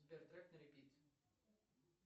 сбер трек на репит